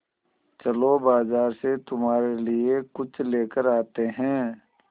चलो बाज़ार से तुम्हारे लिए कुछ लेकर आते हैं